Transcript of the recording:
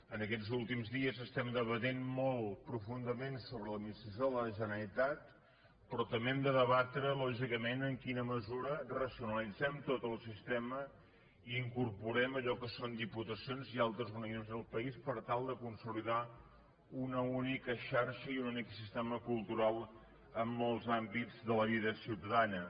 en aquests últims dies estem debatent molt profundament sobre l’admi·nistració de la generalitat però també hem de deba·tre lògicament en quina mesura racionalitzem tot el sistema i incorporem allò que són diputacions i altres organismes del país per tal de consolidar una única xarxa i un únic sistema cultural en molts àmbits de la vida ciutadana